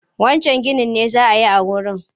Wancan ginin me za a yi a wurin?